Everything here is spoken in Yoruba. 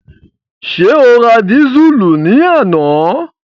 Ṣé o ra dísùlù ní àná?